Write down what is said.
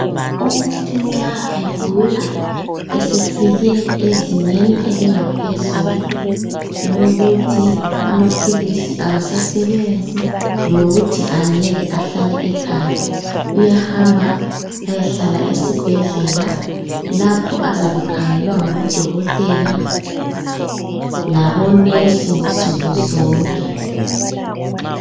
Umuntu nxa egula esefike ezingeni elingaphezulu lokuthi amaphilisi awasasebenzi lokuthi angeke ahlale ekhaya uyahamba ayehlala esibhedlela lapho azabe ekhangelwa ngabodokotela labonesi nsukuzonke.